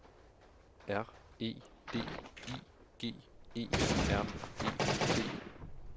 R E D I G E R E T